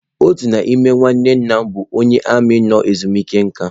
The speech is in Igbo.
Otu n'ime nwanne nna m bụ onye armiị nọ ezumike nka.